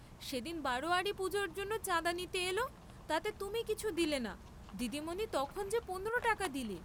সেদিন বারােয়ারি পূজার জন্য চাঁদা নিতে এল তাতে তুমি কিছু দিলে না দিদিমণি তখনি যে পনেরো টাকা দিলে।